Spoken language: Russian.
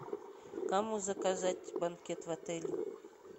кому заказать банкет в отеле